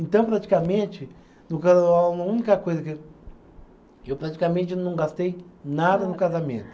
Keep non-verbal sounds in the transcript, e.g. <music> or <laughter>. Então, praticamente, <unintelligible> a única coisa que. Eu praticamente não gastei nada no casamento.